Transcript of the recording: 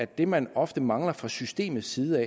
det man ofte mangler fra systemets side